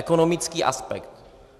Ekonomický aspekt.